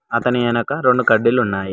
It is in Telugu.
అతని ఎనక రొండు కడ్డీలు ఉన్నాయి.